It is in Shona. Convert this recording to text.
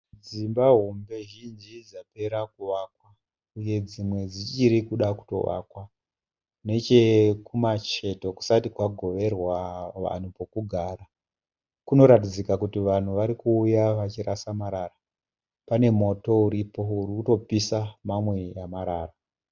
Dzimba hombe zhinji dzapera kuvakwa. Uye dzimwe dzichi kuda kutovakwa. Uye nechekumapeto kusati kwagoverwa vanhu pekugara .Kuroratidzika kuti vanhu vari kuuya vachirasa marara, uye pane moto uri kutopisa mamwe marara.